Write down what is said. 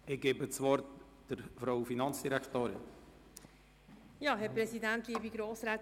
Ich gebe der Finanzdirektorin das Wort.